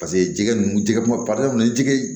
Paseke jɛgɛ ninnu jɛgɛ ma jɛgɛ